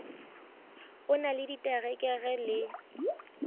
o na le diterekere le